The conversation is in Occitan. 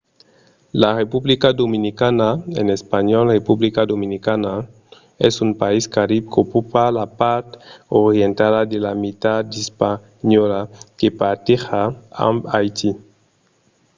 la republica dominicana en espanhòl: república dominicana es un país carib qu'ocupa la part orientala de la mitat d'hispaniola que parteja amb haiti